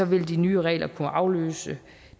vil de nye regler kunne afløse